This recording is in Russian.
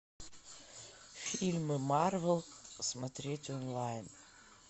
фильмы марвел смотреть онлайн